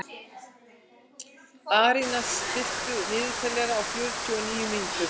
Arína, stilltu niðurteljara á fjörutíu og níu mínútur.